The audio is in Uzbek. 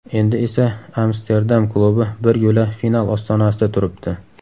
Endi esa Amsterdam klubi bir yo‘la final ostonasida turibdi.